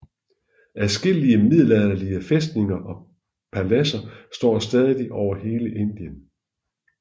Adskillige middelalderlige fæstninger og paladser står stadig over hele Indien